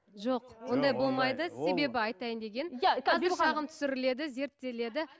жоқ себебі айтайын дегенім қазір шағым түсіріледі зерттеледі